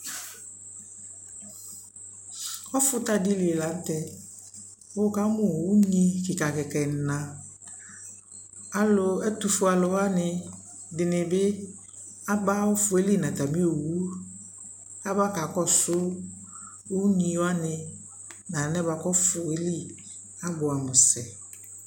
Ɔfuta dι lι la nʋ tɛ kʋ wʋkamu unyi kikakika ɛna Alʋ ɛtʋfue alʋwani dι bι aba ɔfu yɛ lι nʋ atami owu aba kakɔsu unyiwani nʋ alɛ bua kʋ ɔfu yɛ lι abuamu sɛ